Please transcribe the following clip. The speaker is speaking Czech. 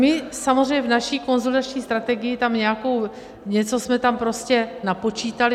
My samozřejmě v naší konsolidační strategii tam nějakou, něco jsme tam prostě napočítali.